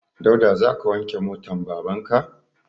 Dauda za ka wanke motan baban ka?